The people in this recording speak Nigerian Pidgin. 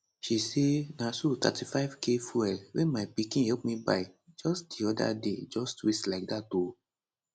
she say na so 35k fuel wey my pikin help me buy just di oda day just waste like dat o